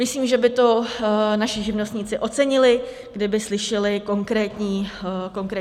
Myslím, že by to naši živnostníci ocenili, kdyby slyšeli konkrétní odpovědi.